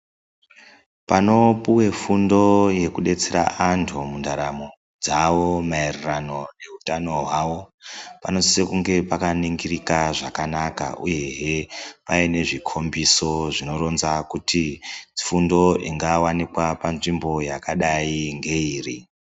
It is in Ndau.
Panopuwe fundo yekudetsera vantu mundaramo dzavo maererano neutano hwavo panosisa kunge pakaningirika zvakanaka uye paine zvikombiso zvinoratidza kuti fundo ingaoneka panzvimbo iyi ngeiri.